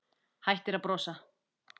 Hættir að brosa.